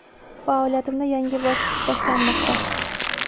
Faoliyatimda yangi bosqich boshlanmoqda.